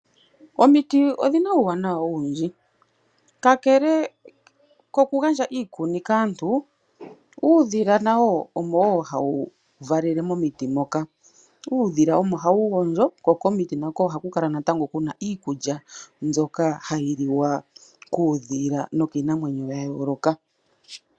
Omiti odhina uuwanawa owundji. Kakele kokugandja iikuni kaantu uudhila nawo omo wo hawu valele momiti moka. Uudhila omo hawu gondjo. Kokomiti nako ohaku kala natango kuna iikulya mbyoka hayi liwa kuudhila nokiinamwenyo ya yooloka.